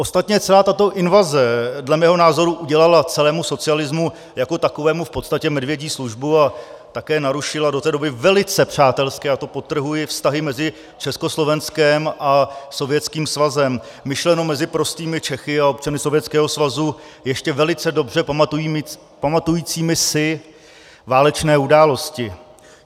Ostatně celá tato invaze dle mého názoru udělala celému socialismu jako takovému v podstatě medvědí službu a také narušila do té doby velice přátelské, a to podtrhuji, vztahy mezi Československem a Sovětským svazem, myšleno mezi prostými Čechy a občany Sovětského svazu ještě velice dobře pamatujícími si válečné události.